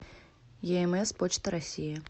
еэмэс почта россии